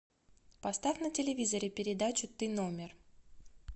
поставь на телевизоре передачу ты номер